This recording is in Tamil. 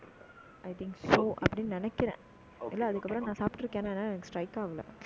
I think so அப்படின்னு நினைக்கிறேன் இல்லை, அதுக்கப்புறம் நான் சாப்பிட்டு இருக்கேன்னா எனக்கு strike ஆகலை